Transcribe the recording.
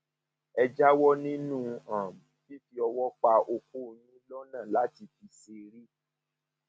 ẹ jáwọ nínú um fífi ọwọ pa okó yín lọnà láti fi ṣeré